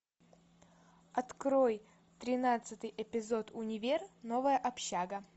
открой тринадцатый эпизод универ новая общага